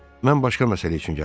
Mən başqa məsələ üçün gəlmişəm.